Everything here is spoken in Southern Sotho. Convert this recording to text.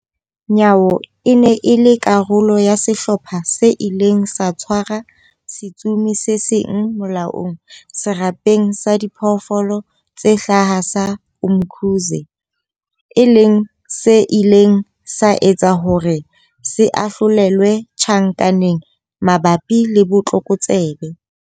Nyawo e ne e le karolo ya sehlopha se ileng sa tshwara setsomi se seng molaong Serapeng sa Diphoofolo tse Hlaha sa Umkhuze, e leng se ileng sa etsa hore se ahlolelwe tjhankaneng mabapi le botlokotsebe.